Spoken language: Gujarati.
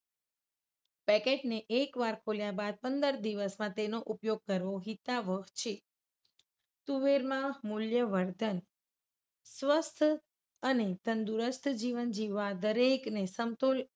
Packet ની એકવાર ખોલ્યા બાદ પંદર દિવસમાં તેનો ઉપયોગ કરવો હિતાવહ છે. તુવેરમાં મૂલ્યવર્ધન. સ્વાસ્થ્ય અને તંદુરસ્ત જીવન જીવવા દરેકને સમતુલ